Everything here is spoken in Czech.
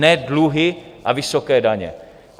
Ne dluhy a vysoké daně.